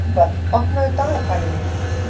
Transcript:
Yngvar, opnaðu dagatalið mitt.